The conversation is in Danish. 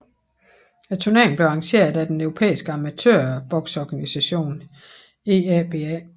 Turneringen blev arrangeret af den europæiske amatørbokseorganisation EABA